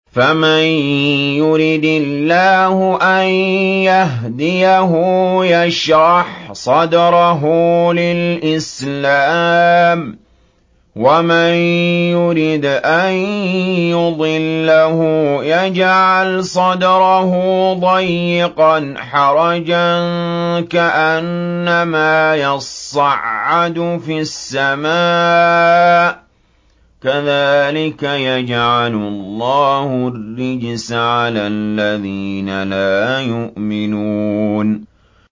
فَمَن يُرِدِ اللَّهُ أَن يَهْدِيَهُ يَشْرَحْ صَدْرَهُ لِلْإِسْلَامِ ۖ وَمَن يُرِدْ أَن يُضِلَّهُ يَجْعَلْ صَدْرَهُ ضَيِّقًا حَرَجًا كَأَنَّمَا يَصَّعَّدُ فِي السَّمَاءِ ۚ كَذَٰلِكَ يَجْعَلُ اللَّهُ الرِّجْسَ عَلَى الَّذِينَ لَا يُؤْمِنُونَ